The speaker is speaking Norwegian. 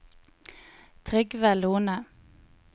Trygve Lohne